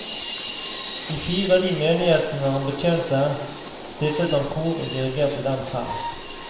I fire av de menighetene han betjente, stiftet han kor og dirigerte dem selv.